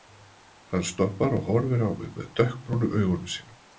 Hann stoppar og horfir á mig með dökkbrúnu augunum sínum.